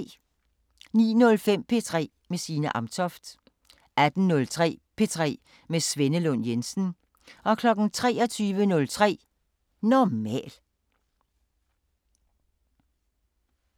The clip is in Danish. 09:05: P3 med Signe Amtoft 18:03: P3 med Svenne Lund Jensen 23:03: Normal